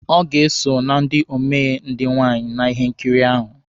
Ọ ga-eso na ndị omee ndị nwaanyị na ihe nkiri ahụ.